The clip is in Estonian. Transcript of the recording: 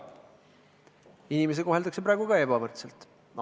Inimesi koheldakse ka praegu ebavõrdselt.